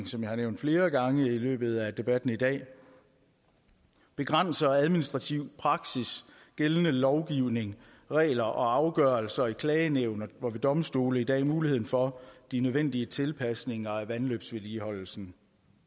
som jeg har nævnt flere gange i løbet af debatten i dag begrænser administrativ praksis gældende lovgivning regler og afgørelser i klagenævn og ved domstole i dag muligheden for de nødvendige tilpasninger af vandløbsvedligeholdelsen